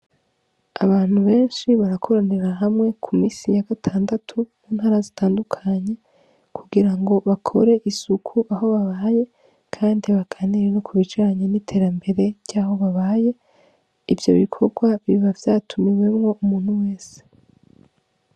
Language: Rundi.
Abantu benshi barakoranira hamwe ku minsi ya gatandatu mu ntara zitandukanye, kugira ngo bakore isuku aho babaye, kandi baganire no ku bijanye n'iterambere ry'aho babaye. Ivyo bikorwa biba vyatumiwemwo umuntu wese.